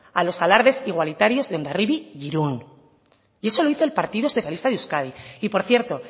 a los alardes igualitarios de hondarribia e irún y eso lo hizo el partido socialista de euskadi y por cierto